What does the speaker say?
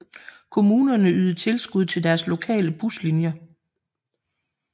Kommunerne ydede tilskud til deres lokale buslinjer